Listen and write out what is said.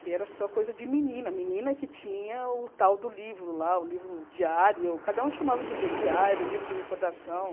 que era só coisa de menina, menina que tinha o tal do livro lá, o livro diário, cada um chamava de um jeito, diário, livro de recordação.